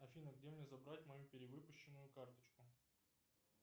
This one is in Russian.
афина где мне забрать мою перевыпущенную карточку